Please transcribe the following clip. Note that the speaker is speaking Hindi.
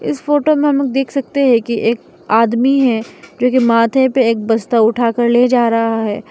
इस फोटो में हम देख सकते हैं कि एक आदमी है जोकि माथे पे एक बस्ता उठा कर ले जा रहा है।